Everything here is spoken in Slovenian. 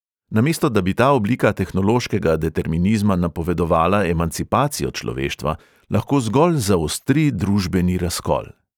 Namesto da bi ta oblika tehnološkega determinizma napovedovala emancipacijo človeštva, lahko zgolj zaostri družbeni razkol.